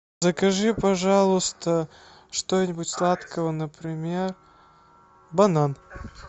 закажи пожалуйста что нибудь сладкого например банан